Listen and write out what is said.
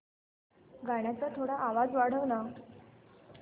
गाण्याचा थोडा आवाज वाढव ना